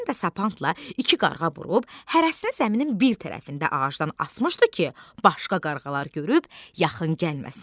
Həsən də sapandla iki qarğa vurub hərəsinin zəminin bir tərəfində ağacdan asmışdı ki, başqa qarğalar görüb yaxın gəlməsin.